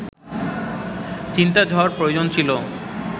চিন্তাঝড় প্রয়োজন ছিল